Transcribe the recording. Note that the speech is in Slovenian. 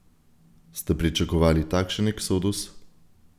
Ste pričakovali takšen eksodus?